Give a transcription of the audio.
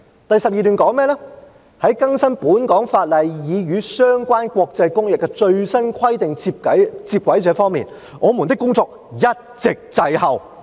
"第12段則說："在更新本港法例以與相關國際公約的最新規定接軌這方面，我們的工作一直滯後。